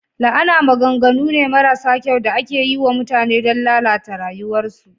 La'ana maganganu ne marasa kyau da ake yi wa mutane don lalata rayuwarsu.